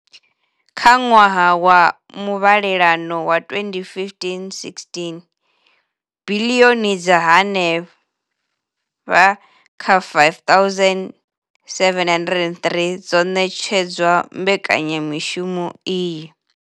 Kha ṅwaha wa muvhalelano wa 2015,16, biḽioni dza henefha kha R5 703 dzo ṋetshedzwa mbekanya mushumo iyi.